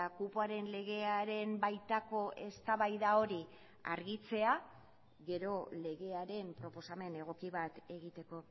kupoaren legearen baitako eztabaida hori argitzea gero legearen proposamen egoki bat egiteko